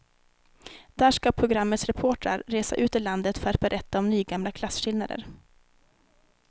Där ska programmets reportrar resa ut i landet för att berätta om nygamla klasskillnader.